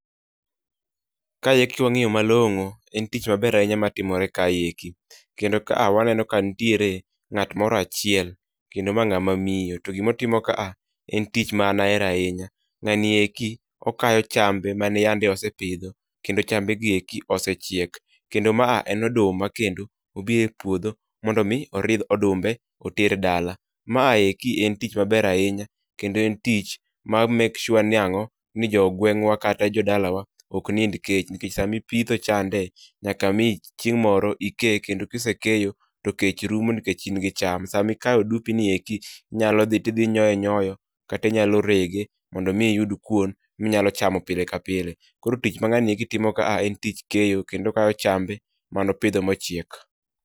Kae eki ki wang'iyo malong'o, en tich maber ahinya ma timore kae eki. Kendo ka a waneno ka nitiere ng'at moro achiel, kendo ma ng'ama miyo. To gimotimo ka a en tich ma ahero ahinya. Ng'ani eki okayo chambe mane yande osepidho kendo chambe gieko osechiek. Kendo ma a end oduma kendo obi e puodho mondo mi oridh odumbe oter dala. Ma a eki en tich maber ahinya, kendo en tich ma make sure ni ang'o? Ni jo gweng'wa kata jo dalawa ok nind kech, nikech samipitho chande nyaka mi chieng' moro ike. Kendo ksekeyo, to kech rumo nikech in gi cham. Samikayo odumbi nieki, inyalo dhi tidhi inyoe nyoyo, kata inyalo rege mondo mi iyud kuon minyalo chamo pile ka pile. Koro tich ma ng'ani eki timo ka en tich keyo kendo okayo chambe manopidho mochiek.